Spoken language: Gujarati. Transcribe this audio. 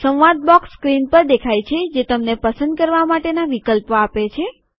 સંવાદ બોક્સ સ્ક્રીન પર દેખાય છે જે તમને પસંદ કરવા માટેના વિકલ્પો આપે છે